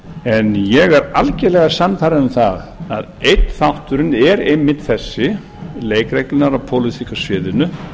en ég er algerlega sannfærður um það að einn þátturinn er einmitt þessi leikreglurnar á pólitíska sviðinu